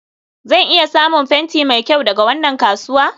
zan iya samun fenti mai kyau daga wannan kasuwa?